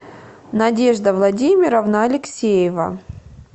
надежда владимировна алексеева